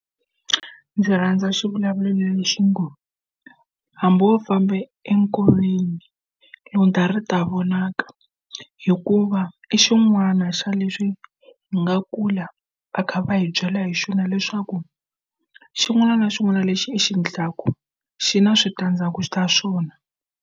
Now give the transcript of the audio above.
Ndzi rhandza xivulavulelo lexi ngo hambi wo famba enkoveni lundza ta vonaka hikuva i xin'wana xa leswi hi nga kula va kha va hi byela hi xona leswaku xin'wana na xin'wana lexi i xi endlaku xi na switandzhaku ta swona.